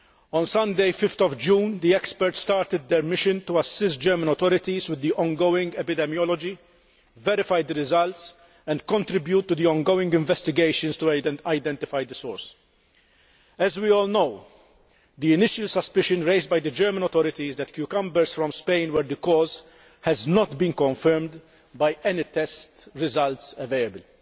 On Sunday, 5 June, the experts started their mission to assist German authorities with the ongoing epidemiology, verify the results and contribute to the ongoing investigations to identify the source. As we all know, the initial suspicion raised by the German authorities that cucumbers from Spain were the cause has not been confirmed by any test results available.